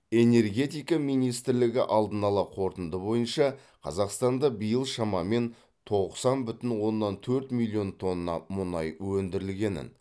энергетика министрлігі алдын ала қорытынды бойынша қазақстанда биыл шамамен тоқсан бүтін оннан төрт миллион тонна мұнай өндірілгенін